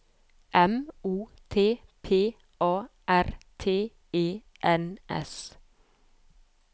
M O T P A R T E N S